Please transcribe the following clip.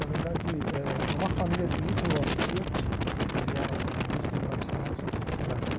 Na verdade, é é uma família de ítalo-austríacos que vieram no no início de mil e novecentos para o Brasil.